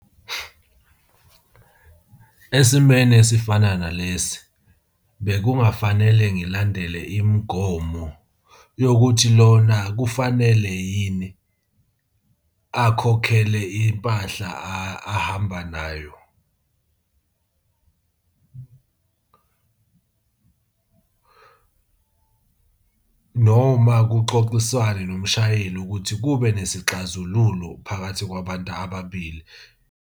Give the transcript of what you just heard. Esimweni esifana nalesi bekungafanele ngilandele imigomo yokuthi lona kufanele yini akhokhele impahla ahamba nayo noma kuxoxiswane nomshayeli ukuthi kube nesixazululo phakathi kwabantu ababili.